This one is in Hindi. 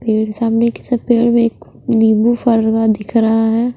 पेड़ सामने पेड़ में एक नींबू दिख रहा है।